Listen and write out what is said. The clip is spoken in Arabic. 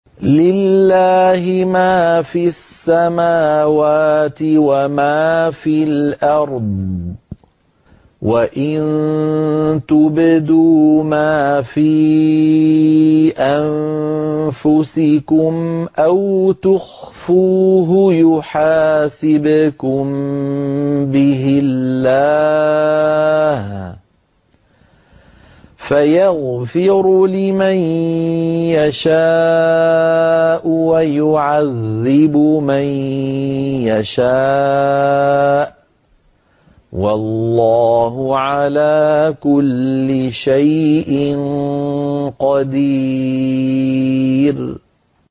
لِّلَّهِ مَا فِي السَّمَاوَاتِ وَمَا فِي الْأَرْضِ ۗ وَإِن تُبْدُوا مَا فِي أَنفُسِكُمْ أَوْ تُخْفُوهُ يُحَاسِبْكُم بِهِ اللَّهُ ۖ فَيَغْفِرُ لِمَن يَشَاءُ وَيُعَذِّبُ مَن يَشَاءُ ۗ وَاللَّهُ عَلَىٰ كُلِّ شَيْءٍ قَدِيرٌ